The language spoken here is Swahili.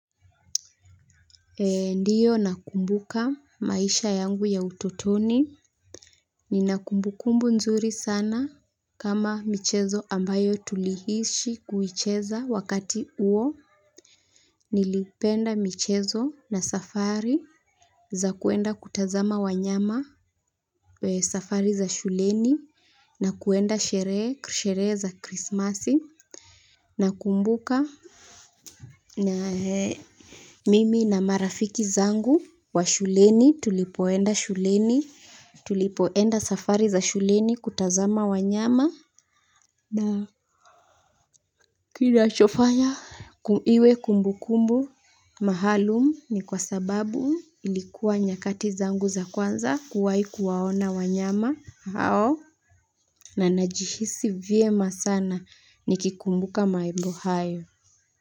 Ndiyo nakumbuka maisha yangu ya utotoni. Nina kumbukumbu nzuri sana kama michezo ambayo tulihisi kuwicheza wakati huo. Nilipenda michezo na safari za kuenda kutazama wanyama safari za shuleni na kwenda sherehe, sherehe za Krismasi, nakumbuka mimi na marafiki zangu wa shuleni tulipoenda shuleni. Tulipoenda safari za shuleni kutazama wanyama na kinachofanya iwe kumbukumbu maalum ni kwa sababu ilikuwa nyakati zangu za kwanza kuwahi kuwaona wanyama hao. Na najihisi vyema sana nikikumbuka mambo hayo.